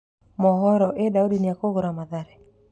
(Mohoro) Ĩ Daudi nĩekũgũra Mathare.